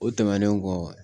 O tɛmɛnen kɔ